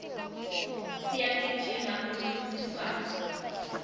siyagijima kumincintiswano